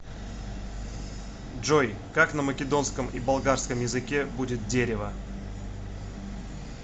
джой как на македонском и болгарском языке будет дерево